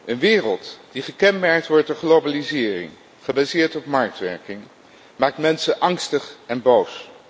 Een wereld die gekenmerkt wordt door globalisering, gebaseerd op marktwerking, maakt mensen angstig en boos.